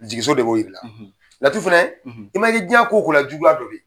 Jigiso de b'o jir'i la laturu fanɛ i mana kɛ jiɲɛ ko o ko la juguya